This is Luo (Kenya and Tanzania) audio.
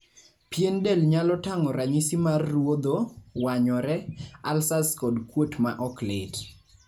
pien del nyalo tang'o ranyisi mar ruodho, wanyore ,alsas kod kuot ma oklit